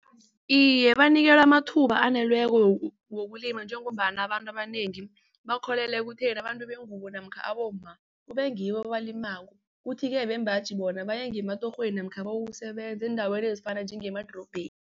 Iye, banikelwe amathuba wokulima njengombana abantu abanengi bakholelwa ekutheni abantu bengubo namkha abomma kubengibo abalimako. Kuthi-ke bembaji bona baye ngimatorhweni namkha bayokusebenza eendaweni ezifana njengemadorobheni.